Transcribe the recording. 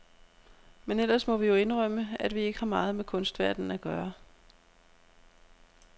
Men ellers må vi jo indrømme, at vi ikke har meget med kunstverdenen at gøre.